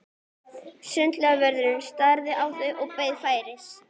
Ásgeir Erlendsson: Deilirðu þeirri skoðun með Pírötum?